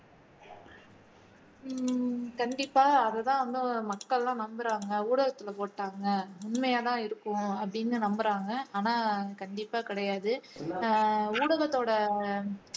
உம் கண்டிப்பா அதுதான் வந்து மக்கள் எல்லாம் நம்புறாங்க ஊடகத்துல போட்டுட்டாங்க உண்மையாதான் இருக்கும் அப்படின்னு நம்புறாங்க ஆனா கண்டிப்பா கிடையாது ஊடகத்தோட